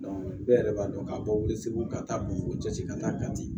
bɛɛ yɛrɛ b'a dɔn k'a fɔ segu ka taa bamakɔ jate ka taa kati